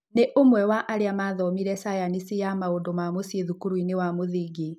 Nĩ ũmwe wa arĩa mathomĩre cayanici ya maũndũma mũciĩ thukurũinĩ wa mũthingi.